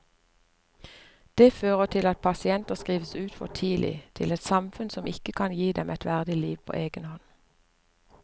Det fører til at pasienter skrives ut for tidlig til et samfunn som ikke kan gi dem et verdig liv på egen hånd.